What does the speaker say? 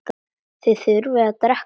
Þið þurfið að drekka meira.